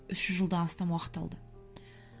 үш жүз жылдан астам уақыт алды